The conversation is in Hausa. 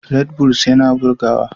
Redbulls yana bugarwa.